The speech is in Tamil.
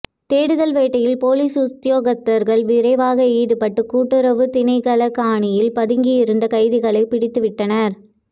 தேடுதல் வேட்டையில் பொலிஸ் உத்தியோகத்தர்கள் விரைவாக ஈடுபட்டு கூட்டுறவு திணைக்கள காணியில் பதுங்கியிருந்த கைதிகளை பிடித்து விட்டனர்